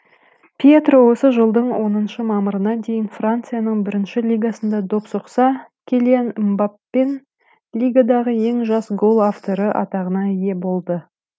пьетро осы жылдың оныншы мамырына дейін францияның бірінші лигасында доп соқса килиан мбаппенің лигадағы ең жас гол авторы атағына ие болды